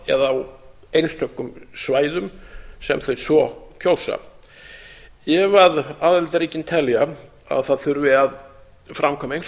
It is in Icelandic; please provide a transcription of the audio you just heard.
eða á einstökum svæðum sem þau svo kjósa ef aðildarríki telja að það þurfi að framkvæma einhvers